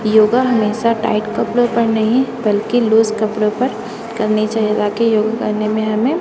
योगा हमेशा टाइट कपडों पर नहीं बल्कि लूस कपडों पर करनी चाहिए बाकि योगा करने मे हमें--